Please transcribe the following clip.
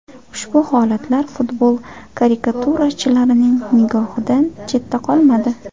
Ushbu holatlar futbol karikaturachilarining nigohidan chetda qolmadi.